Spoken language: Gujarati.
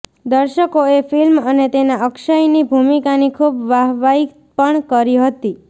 દર્શકોએ ફિલ્મ અને તેમાં અક્ષયની ભૂમિકાની ખૂબ વાહવાઈ પણ કરી હતી